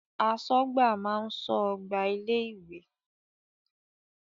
Aṣọ́gbà ló máa ń ṣọ́ ọgbà ilé ìwé.